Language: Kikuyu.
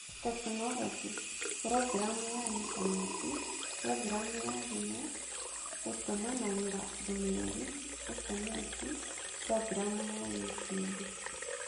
Tekinoronjĩ: Programu ya Intaneti, Programu ya thimũ, gũtũmanagĩra ndũmĩrĩri (SMS), Programu ya YouTube